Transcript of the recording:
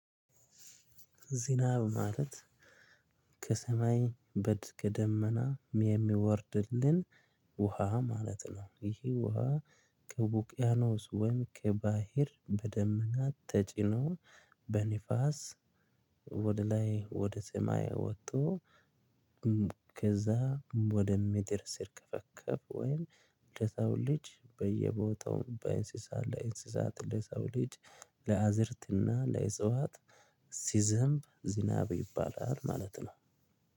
ዝናብ ማለት ከሰማይ በድ ደመና የሚወርድልን ውሃ ማለት ነው። ይሄ ውሃ ከውቅያኖስ ወይም ከባህር በደመናት ተጭኖ በንፋስ ወደ ላይ ወደ ሰማይ ወጥቶ። ከዛ ወደ ምድር ሲርከፈከፍ ወይም ለሰው ልጅ በየቦታው በእንስሳት ላይ እንስሳት ለሰው ልጅ ለአዝዕርት እና ለእጽዋት ሲዘንብ ዝናብ ይባላል።